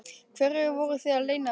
Hverju voruð þið að leyna mig?